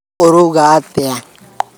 Ũrauuga atĩa?